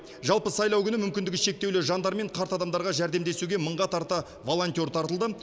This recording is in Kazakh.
жалпы сайлау күні мүмкіндігі шектеулі жандар мен қарт адамдарға жәрдемдесуге мыңға тарта волонтер тартылды